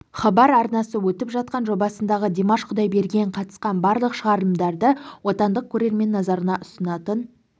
хабар арнасы өтіп жатқан жобасындағы димаш құдайберген қатысқан барлық шығарылымдарды отандық көрермен назарына ұсынатын